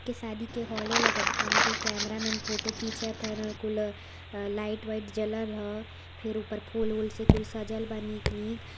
की शादी के हॉले लगत बा कुल कैमरामैन फोटो खींचत हवन कुल लाइट वाइट जलल ह फिर उपर फूल वूल से कुल सजल बा नीक नीक --